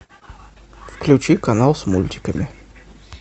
включи канал с мультиками